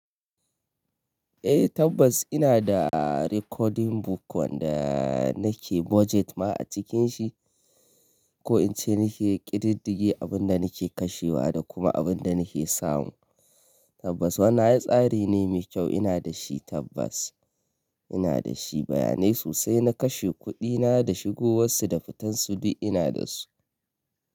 Eh tabbas ina da recording book wanda nake budget ma a cikin shi, ko in ce nake ƙididdige abin da nake kashewa da kuma abin da nake samu. Tabbas wannan ai tsari ne mai kyau ina da shi tabbas. Ina da shi bayanai sosai na kashe kuɗina da shigowarsu da fitarsu duk ina da su.